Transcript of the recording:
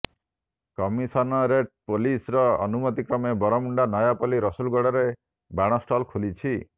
commissionerate ପୋଲିସର ଅନୁମତି କ୍ରମେ ବରମୁଣ୍ଡା ନୟାପଲ୍ଲୀ ରସୁଲଗଡ଼ରେ ବାଣ ଷ୍ଟଲ ଖୋଲିଛି